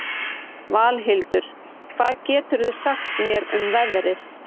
Valhildur, hvað geturðu sagt mér um veðrið?